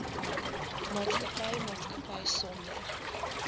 maatskappy maatskappy sonder